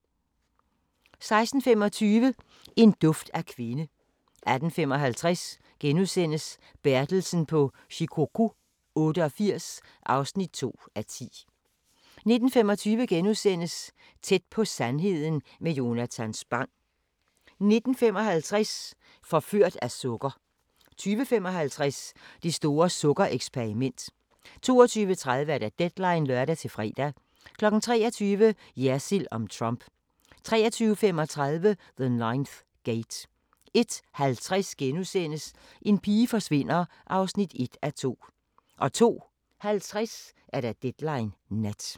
16:25: En duft af kvinde 18:55: Bertelsen på Shikoku 88 (2:10)* 19:25: Tæt på sandheden med Jonatan Spang * 19:55: Forført af sukker 20:55: Det store sukker-eksperiment 22:30: Deadline (lør-fre) 23:00: Jersild om Trump 23:35: The Ninth Gate 01:50: En pige forsvinder (1:2)* 02:50: Deadline Nat